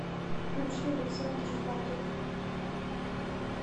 включи александр жвакин